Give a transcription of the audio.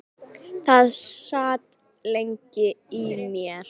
Það sat lengi í mér.